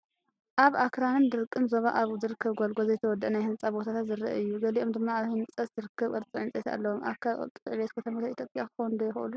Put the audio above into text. ኣብ ኣኽራንን ደረቕን ዞባ ኣብ ዝርከብ ጎልጎል ዘይተወድአ ናይ ህንጻ ቦታታት ዘርኢ እዩ። ገሊኦም ድማ ኣብ ህንጸት ዝርከቡ ቅርጺ ዕንጨይቲ ኣለዎም። ኣካል ቅልጡፍ ዕብየት ከተማታት ኢትዮጵያ ክኾኑ ዶ ይኽእሉ?